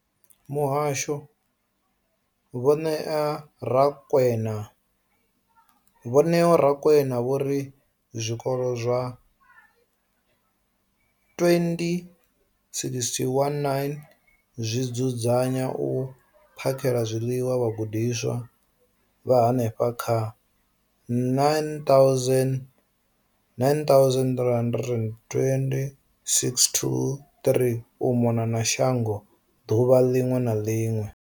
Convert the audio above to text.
Muhasho, Vho Neo Rakwena, vho ri zwikolo zwa 20 619 zwi dzudzanya na u phakhela zwiḽiwa vhagudiswa vha henefha kha 9 032 622 u mona na shango ḓuvha ḽiṅwe na ḽiṅwe.